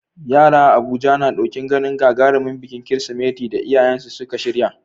Yara a Abuja na ɗokin ganin gagarumin bikin Kirsimeti da iyayensu suka shirya.